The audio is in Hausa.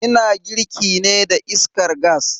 Ina girki ne da iskar gas.